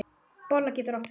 Bolla getur átt við